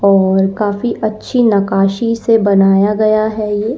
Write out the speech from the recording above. और काफी अच्छी नकाशी से बनाया गया है ये।